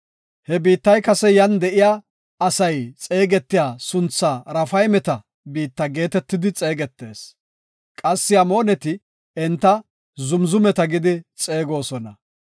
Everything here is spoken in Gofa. [He biittay kase yan de7iya asay xeegetiya sunthaa Raafaymeta biitta geetetidi xeegetees. Qassi Amooneti enta Zamzumeta gidi xeegosona.